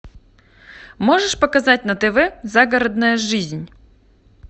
можешь показать на тв загородная жизнь